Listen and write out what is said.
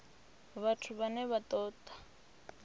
vhathu vhane vha ṱo ḓa